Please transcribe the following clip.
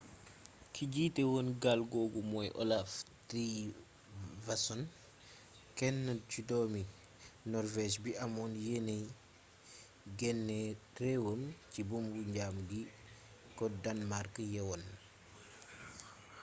ki jiite woon gaal googu mooy olaf trygvasson kenn ci doomi norvége bi amoon yéene génne réewam ci buumu njaam gi ko danmàrk yeewoon